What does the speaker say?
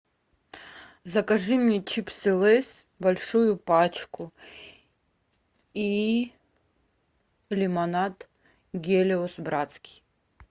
закажи мне чипсы лейс большую пачку и лимонад гелиос братский